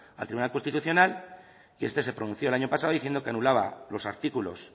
al tribunal constitucional y este se pronunció el año pasado diciendo que anulaba los artículos